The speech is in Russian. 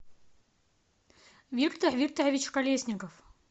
виктор викторович колесников